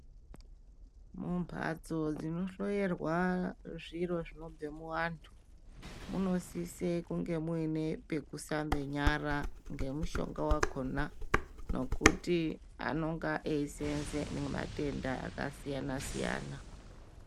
Mumbatso dzino hloyirwa zviro zvinobve muvantu munosise kunge muine pokuhlambe nyara nomushonga wakona ngokuti anonga eiseenze nematenda akasiyana siyana.